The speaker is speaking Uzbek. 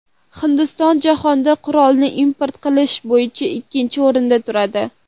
Hindiston jahonda qurolni import qilish bo‘yicha ikkinchi o‘rinda turadi.